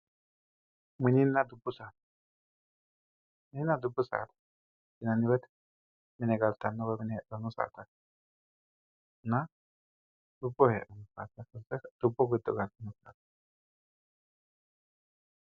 Mininna dubbu saada, mininna dubbu saada yaanohu mine galtano woyi mine heedhano saadatinna dubbu giddo fulanonna.